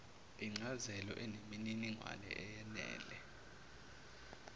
incazelo eneminingwane eyenele